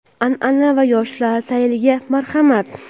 an’ana va yoshlar sayliga marhamat!.